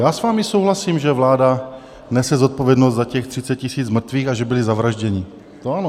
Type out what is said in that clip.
Já s vámi souhlasím, že vláda nese zodpovědnost za těch 30 000 mrtvých a že byli zavražděni, to ano.